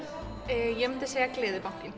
ég myndi segja